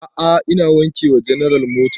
A'a ina wanke wa general mota